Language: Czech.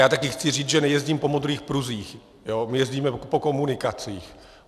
Já taky chci říct, že nejezdím po modrých pruzích, my jezdíme po komunikacích.